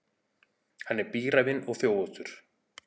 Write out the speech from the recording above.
Hann er bíræfinn og þjófóttur.